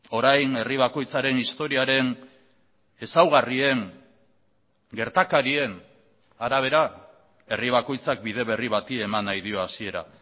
orain herri bakoitzaren historiaren ezaugarrien gertakarien arabera herri bakoitzak bide berri bati eman nahi dio hasiera